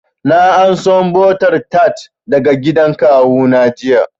Na anso butter tart daga gidan kawu na jiya